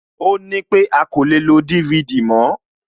Ó nípé a kò lè lo DVD náà mòó